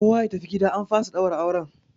Kowa ya tafi gida an fasa ɗaura auren!